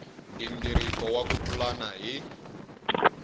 nghingiriko wa ku pulana hi